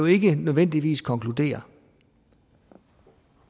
ikke nødvendigvis deraf konkludere